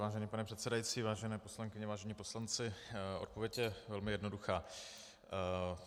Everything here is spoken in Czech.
Vážený pane předsedající, vážené poslankyně, vážení poslanci, odpověď je velmi jednoduchá.